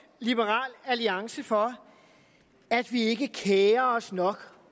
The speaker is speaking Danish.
liberal alliance for at vi ikke kerer os nok